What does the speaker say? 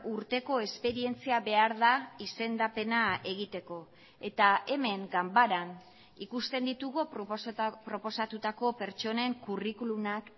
urteko esperientzia behar da izendapena egiteko eta hemen ganbaran ikusten ditugu proposatutako pertsonen curriculumak